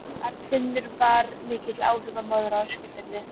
Arnfinnur var mikill áhrifamaður á Eskifirði.